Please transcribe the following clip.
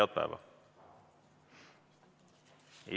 Head päeva!